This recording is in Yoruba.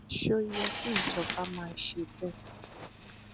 ṣó yẹ kí ìjọba máa ṣe bẹẹ